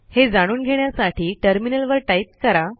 हे जाणून घेण्यासाठी टर्मिनलवर टाईप करा